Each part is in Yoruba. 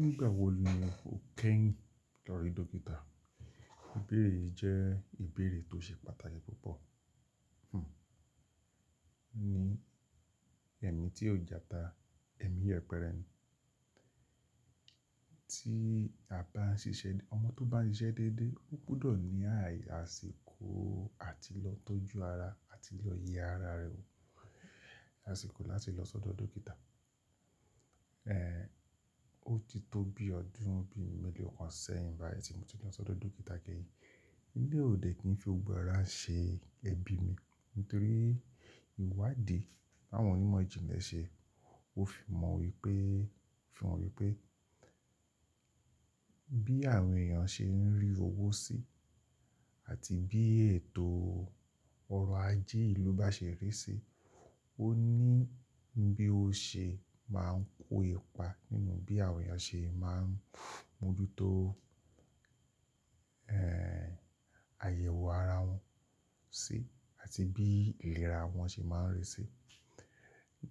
Nígbà wo ni o kẹ́yìn lọ rí dókítà? Ìbéèrè yìí jẹ́ ìbéèrè tó ṣe pàtàkì púpọ̀. Ní ẹ̀mí tí ó jàta, ẹ̀mí yẹpẹrẹ, tí àba ń ṣiṣẹ́, ọmọ tó bá ń ṣiṣẹ́ déédé, ó gudo ní àyà sì kó àti lọ tọ́jú ara àti lọ yẹ ara rẹ̀, àsìkò láti lọ sọ́dọ̀ dókítà. Ó ti tó bí ọdún bí mẹ́lòó kan sẹ́yìn báyìí tí mo ti lọ sọ́dọ̀ dókítà kẹ́yìn. Eleyi o de kin fi gbogbo árá ṣe ẹbí mi nítorí ìwádìí àwọn onímọ̀ ìjìnlẹ̀ ṣe, ó fi mọ̀ wípé, fi hàn wípé bí àwọn èèyàn ṣe ń rí owó sí àti bí ètò ọrọ̀ ajé ìlú bá ṣe rí sí, ó ní bí ó ṣe máa ń kó ipa nínú bí àwọn èèyàn ṣe máa ń mójútó, àyẹ̀wò ara wọn sí àti bí ìlera wọn ṣe máa ń rí sí.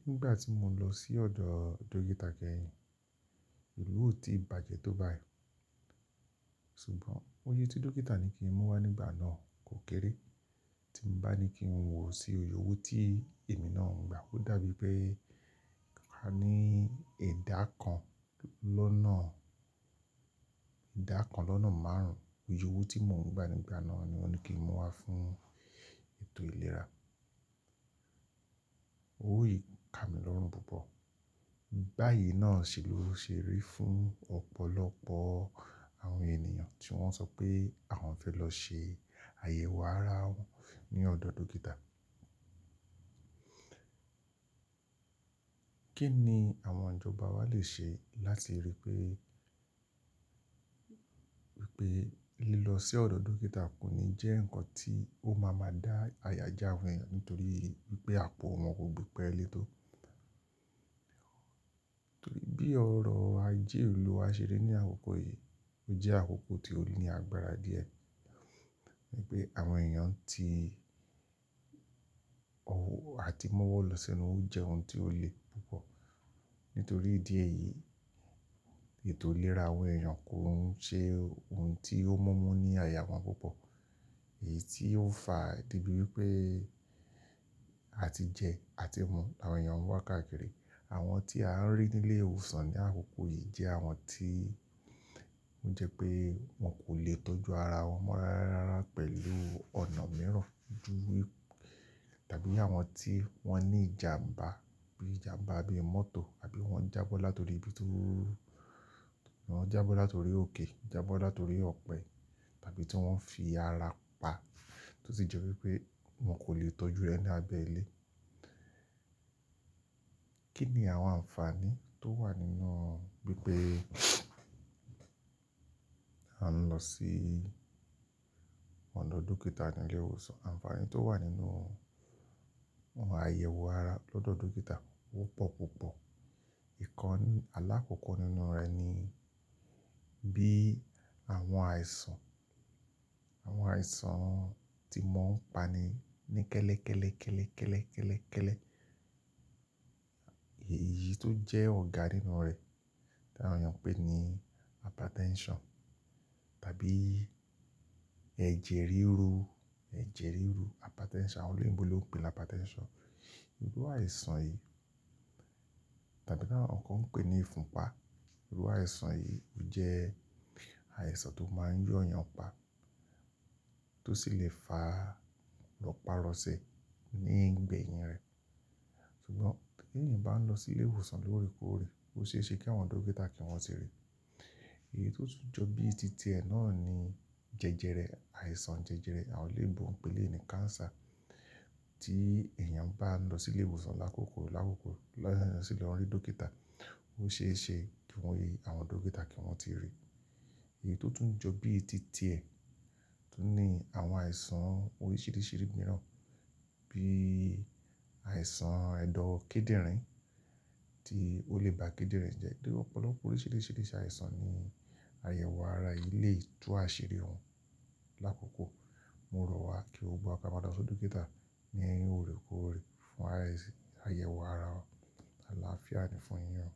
Nígbà tí mo lọ sí ọ̀dọ̀ dókítà kẹ́yìn, ìlú ò tí bàjẹ́ tó báyìí. Ṣùgbọ́n oyè tí dókítà ní kí n mú wá nígbà náà kò kéré. Tí ń bá ní kí n wọ̀ sí oyè owó tí èmi náà ń gba, ó dàbí pé a ní ìdá kan lọ́nà, ìdá kan lọ́nà márùn-ún. Iyè owó tí mò ń gba nígbà náà ni wọ́n ní kí n mú wá fún ètò ìlera. Ówó yìí ká mi lọ́rùn púpọ̀. Báyìí náà sì ló ṣe rí fún ọ̀pọ̀lọpọ̀ àwọn ènìyàn tí wọ́n sọ pé àwọn fẹ́ lọ ṣe àyẹ̀wò ara wọn ní ọ̀dọ̀ dókítà. Kí ni àwọn ìjọba wa lè ṣe láti rí pé, wípé lílọ sí ọ̀dọ̀ dókítà kò ní jẹ́ ǹkan tí ó máa ma dá àyà já àwọn èèyàn nítorí wípé àpò wọn kò gbé pẹ́ẹ́ létò. Torí bí ọrọ̀ ajé ìlú wá ṣe rí ní àkókò yìí, ó jẹ́ àkókò tí ó ní agbára díẹ̀. Ni pé àwọn èèyàn tí ọwọ́ àti mọ́wọ́ lọ sẹ́nu, ó jẹ́ ohun tí ó le púpọ̀. Nítorí ìdí èyí, ètò ìlera àwọn èèyàn kò ń ṣe ohun tí ó mumu ní àyà wọn púpọ̀. Èyí tí ó ń fa debi wípé a ti jẹ àti mu àwọn èèyàn wa káàkiri. Àwọn tí a ń rí ní ilé ìwòsàn ní àkókò yìí jẹ́ àwọn tí ó jẹ́ pé wọ́n kò lè tọ́jú ara wọn mọ́ rararara pẹ̀lú ọ̀nà mìíràn ju tàbí àwọn tí wọ́n ní ìjàmbá bíi ìjàmbá bi mọ́tò àbí wọ́n jábọ́ látorí bí tó wọ́n jábọ́ látorí òkè, jábọ́ látorí ọ̀pẹ tàbí tí wọ́n fi ara pa tó sì jẹ́ wípé wọ́n kò lè tọ́jú rẹ̀ ní abẹ́ ilé. Kí ni àwọn ànfàní tó wà nínú bí pé a ń lọ sí ọ̀dọ̀ dókítà ní ilé ìwòsàn? Ànfàní tó wà nínú àwọn àyẹ̀wò ara lọ́dọ̀ dókítà ó pọ̀ púpọ̀. Ìkan aláàkókò nínú rẹ̀ ni bí àwọn àìsàn, àwọn àìsàn tí mon ń pani ní kẹ́lẹ́, kẹ́lẹ́, kẹ́lẹ́, kẹ́lẹ́, kẹ́lẹ́, kẹ́lẹ́. Èyí tó jẹ́ ọ̀gá nínú rẹ̀ tí àwọn èèyàn ń pè ní hypertension tàbí ẹ̀jẹ̀ ríru, ẹ̀jẹ̀ ríru hypertension àwọn olóyinbo lon pè é ní hypertension. Irú àìsàn yìí tàbí náà ọ̀kan pè é ní ìfunpá. Irú àìsàn yìí jẹ́ àìsàn tó máa ń yọ èèyàn pa tó sì lè fa ropa rose ní ìgbẹ̀yìn rẹ̀. Ṣùgbọ́n tí èèyàn bá ń lọ sí ilé ìwòsàn lóòrèkóòrè, ó ṣe é ṣe kí àwọn dókítà kí wọ́n tì ríi. Èyí tó tún jọ bí i tìtẹ̀ náà ni jẹjẹrẹ, àìsàn jẹjẹrẹ àwọn elebo pè eleyi ní cancer tí èèyàn bá ń lọ sí ilé ìwòsàn ní àkókò, ní àkókò lọ́yàn lọ sílẹ̀ lọ rí dókítà, ó ṣe é ṣe kí àwọn dókítà kí wọ́n tì ríi. Èyí tó tún jọ bí i tìtẹ̀ tún ní àwọn àìsàn oríṣìíríṣìí mìíràn bí àìsàn ẹ̀dọ̀ kíndìnrín tí ó lè ba kíndìnrín jẹ́. Ópọ̀lọpọ̀ oríṣìíríṣìí àìsàn ní àyẹ̀wò ara lé tú àṣírí wom. Láàkókò, mo rọ̀ wá kí gbogbo kama losi ọ̀dọ̀ dókítà ní ìhòòrèkóòrè fún àyẹ̀wò ara ọ, àlàáfíà ni fún yin o.